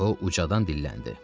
O ucadan dilləndi.